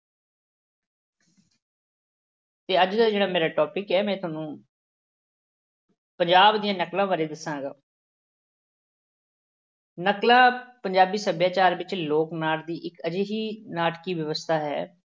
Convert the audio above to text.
ਤੇ ਅੱਜ ਦਾ ਜਿਹੜਾ ਮੇਰਾ topic ਹੈ ਮੈਂ ਤੁਹਾਨੂੰ ਪੰਜਾਬ ਦੀਆਂ ਨਕਲਾਂ ਬਾਰੇ ਦੱਸਾਂਗਾ ਨਕਲਾਂ ਪੰਜਾਬੀ ਸੱਭਿਆਚਾਰ ਵਿੱਚ ਲੋਕ-ਨਾਟ ਦੀ ਇੱਕ ਅਜਿਹੀ ਨਾਟਕੀ ਵਿਵਸਥਾ ਹੈ,